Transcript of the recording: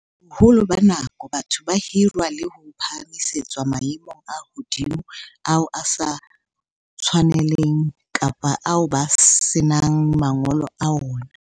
Boholo ba nako, batho ba hirwa le ho phahamisetswa maemong a hodimo ao a sa ba tshwaneleng kapa ao ba senang mangolo a ona.